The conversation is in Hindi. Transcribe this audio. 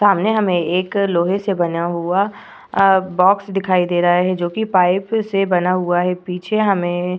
सामने हमें एक लोहे से बना हुआ अ बॉक्स दिखाई दे रहा है जोकि पाइप से बना हुआ है पीछे हमें --